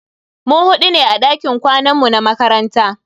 Mu hudu ne a dakin kwanan mu na makaranta.